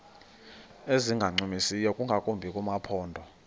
ezingancumisiyo ingakumbi kumaphondo